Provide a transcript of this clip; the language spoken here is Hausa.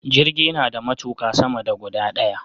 Jirgi nada matuƙa sama da guda daya